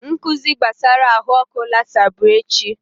Nkụzi gbasara ahụ ọkụ lasa bụ echi